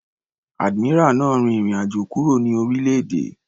Admiral náà rin ìrìn àjò kúrò ní orílẹ̀-èdè.